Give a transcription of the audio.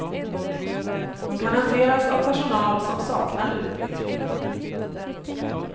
De kan hanteras av personal som saknar utbildning.